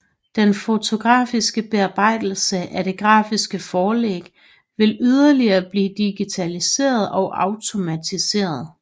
Den fotografiske bearbejdelse af det grafiske forlæg vil yderligere blive digitaliseret og automatiseret